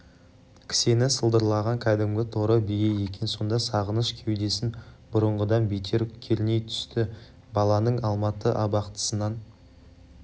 кісені сылдырлаған кәдімгі торы бие екен сонда сағыныш кеудесін бұрынғыдан бетер керней түсті баланың алматы абақтысынан